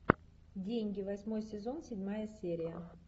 деньги восьмой сезон седьмая серия